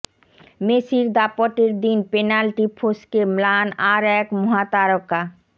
মেসির দাপটের দিন পেনাল্টি ফস্কে ম্লান আর এক মহাতারকা